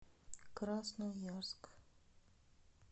красноярск